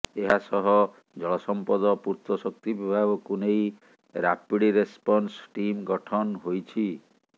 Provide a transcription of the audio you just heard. ଏହାସହ ଜଳ ସଂପଦ ପୂର୍ତ୍ତ ଶକ୍ତି ବିଭାଗକୁ ନେଇ ରାପିଡ ରେସପନ୍ସ ଟିମ୍ ଗଠନ ହୋଇଛି